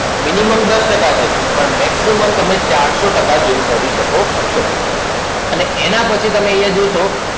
Minimum દસ ટકા છે પણ Maximum તમે ચારસો ટકા Zoom કરી શકો છો. અને એના પછી તમે અહિયાં જોશો